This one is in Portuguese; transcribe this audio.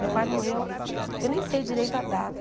Meu pai morreu... Eu nem sei direito a data.